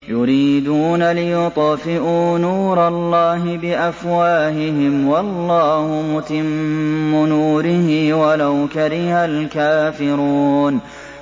يُرِيدُونَ لِيُطْفِئُوا نُورَ اللَّهِ بِأَفْوَاهِهِمْ وَاللَّهُ مُتِمُّ نُورِهِ وَلَوْ كَرِهَ الْكَافِرُونَ